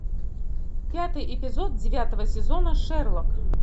пятый эпизод девятого сезона шерлок